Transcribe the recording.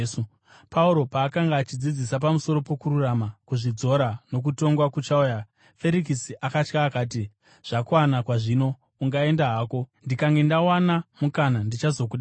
Pauro paakanga achidzidzisa pamusoro pokururama, kuzvidzora, nokutongwa kuchauya, Ferikisi akatya akati, “Zvakwana kwazvino! Ungaenda hako. Ndikange ndawana mukana, ndichazokudana.”